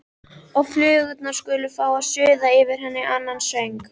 Og flugurnar skulu fá að suða yfir henni annan söng.